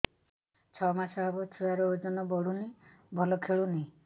ଛଅ ମାସ ହବ ଛୁଆର ଓଜନ ବଢୁନି ଭଲ ଖେଳୁନି